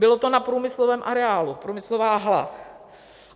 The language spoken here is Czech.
Bylo to na průmyslovém areálu, průmyslová hala.